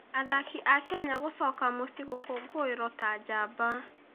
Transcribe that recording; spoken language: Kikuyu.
Athaki a Kenya gũcoka mũciĩ gũkũngũĩrwo ta njamba